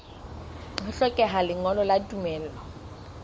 ho hlokeha lengolo la tumello